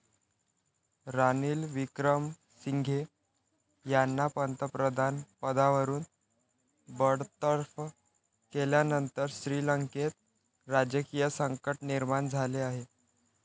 रानिल विक्रमसिंघे यांना पंतप्रधानपदावरून बडतर्फ केल्यानंतर श्रीलंकेत राजकीय संकट निर्माण झाले आहे.